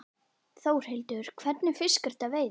Þórhildur: Hvernig fisk ertu að veiða?